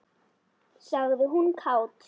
sagði hún kát.